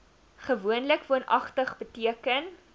gewoonlik woonagtig beteken